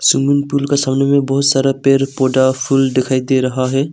Swimming pool का सामने में बहोत सारा पेड़ पौधा फूल दिखाई दे रहा है।